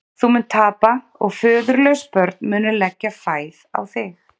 Þú munt tapa og föðurlaus börn munu leggja fæð á þig.